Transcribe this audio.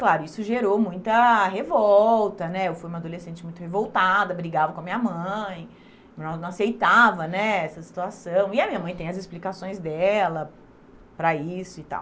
Claro, isso gerou muita revolta né, eu fui uma adolescente muito revoltada, brigava com a minha mãe, ela não aceitava né essa situação e a minha mãe tem as explicações dela para isso e tal.